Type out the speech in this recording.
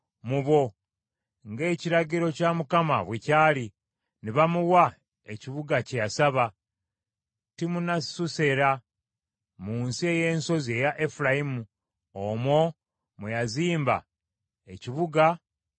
ng’ekiragiro kya Mukama bwe kyali, ne bamuwa ekibuga kye yasaba, Timunasusera mu nsi ey’ensozi eya Efulayimu. Omwo mwe yazimba ekibuga mwe yabeera.